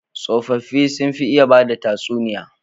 Tsofaffi sun fi iya bada tsatuniya